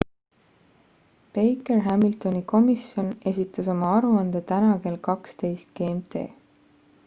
baker-hamiltoni komisjon esitas oma aruande täna kell 12.00 gmt